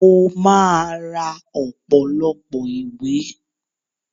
Mo máa ra ọ̀pọ̀lọpọ̀ ìwé